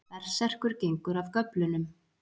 Berserkur gengur af göflunum.